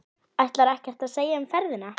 Ætlarðu ekkert að segja um ferðina?